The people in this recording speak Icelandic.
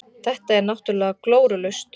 Þetta er náttúrulega glórulaust.